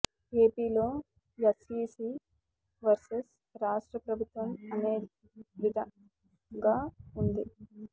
AP లో SEC versus రాష్ట్ర ప్రభుత్వం అనే విదంగా ఉంది